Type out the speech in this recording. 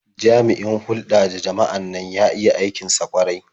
Jami'in hulɗa da jama'an nan ya iya aikin sa ƙwarai.